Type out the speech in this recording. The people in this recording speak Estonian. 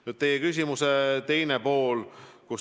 Nüüd teie küsimuse teisest poolest.